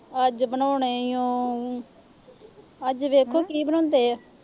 ਅੱਜ ਬਣਾਉਣੇ ਆ। ਅੱਜ ਦੇਖੋ ਕੀ ਬਣਾਉਂਦੇ ਆ।